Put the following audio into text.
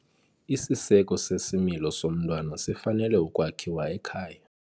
Isiseko sesimilo somntwana sifanele ukwakhiwa ekhaya.